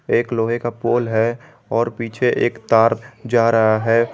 एक लोहे का पोल है और पीछे एक तार जा रहा है।